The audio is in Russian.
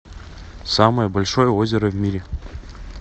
самое большое озеро в мире